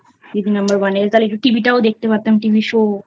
দিদি Number One এ তাহলে TV টাওদেখতে পারতাম TV show